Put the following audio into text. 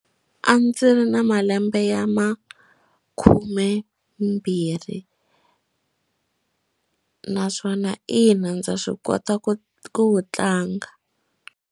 A ndzi ri na malembe ya makhumembirhi naswona ina ndza swi kota ku wu tlanga.